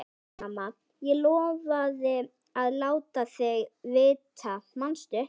Nei, mamma, ég lofaði að láta þig vita, manstu?